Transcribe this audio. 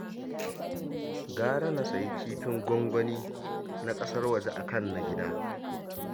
Gara na sayi kifin gwangwani na ƙasar waje a kan na gida